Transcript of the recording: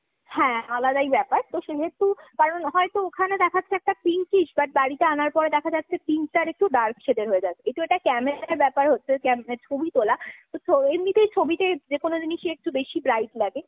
হ্যাঁ, আলাদাই ব্যাপার। তো সেহেতু, কারণ হয়তো ওখানে দেখাচ্ছে একটা pinkish but বাড়িতে আনার পর দেখা যাচ্ছে pink টা আর একটু dark shade এর হয়ে যাচ্ছে। ওটা একটু camera র ব্যাপার হচ্ছে ছবি তোলা। এমনিতেই ছবিতে যে কোনো জিনিসই একটু বেশি bright লাগে।